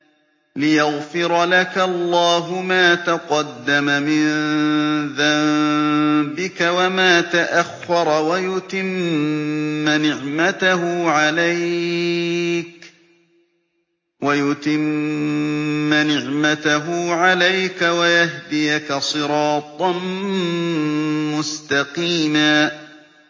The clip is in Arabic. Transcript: لِّيَغْفِرَ لَكَ اللَّهُ مَا تَقَدَّمَ مِن ذَنبِكَ وَمَا تَأَخَّرَ وَيُتِمَّ نِعْمَتَهُ عَلَيْكَ وَيَهْدِيَكَ صِرَاطًا مُّسْتَقِيمًا